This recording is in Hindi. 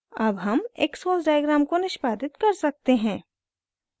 अब हम xcos डायग्राम को निष्पादित कर सकते हैं